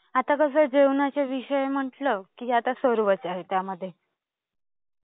आता कसं जेवणाचा विषय आहे म्हटलं की आता सर्वच आहे त्यामध्ये.